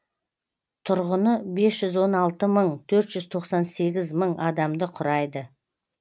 тұрғыны бес жүз он алты мың төрт жүз тоқсан сегіз мың адамды құрайды